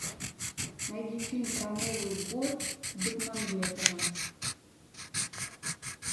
найди фильм про новый год бекмамбетова